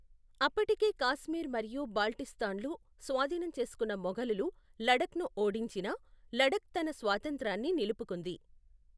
అప్పటికే కాశ్మీర్ మరియు బాల్టిస్తాన్లు స్వాధీనం చేసుకున్న మొఘలులు లడఖ్ను ఓడించినా, లడఖ్ తన స్వాతంత్రాన్ని నిలుపుకుంది.